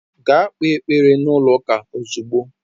Gaa kpee ekpere n'ụlọ ụka ozugbo!